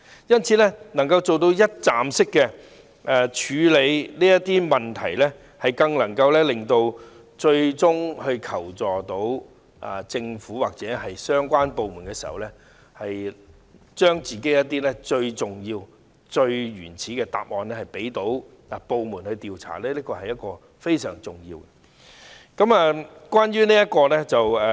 因此，支援中心能夠一站式處理這些問題，令那些最終向政府或相關部門求助的受害人，將她們自己最重要、最原始的答案提供予各部門調查，這是非常重要的。